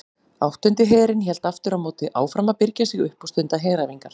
Áttundi herinn hélt aftur á móti áfram að birgja sig upp og stunda heræfingar.